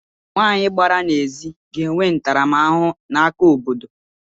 Nwanyị gbara n’ezi ga-enwe ntaramahụhụ n’aka obodo